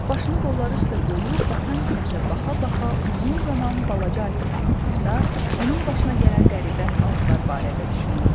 O başını qolları üstə qoyub batan günəşə baxa-baxa uzun zaman balaca Alisa haqqında, onun başına gələn qəribə əhvalatlar barədə düşünürdü.